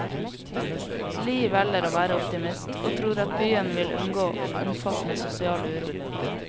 Li velger å være optimist, og tror at byen vil unngå omfattende sosial uro.